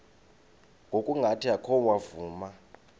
ngokungathi oko wavuma